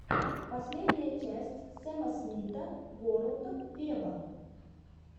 последняя часть сэма смита ворлд вево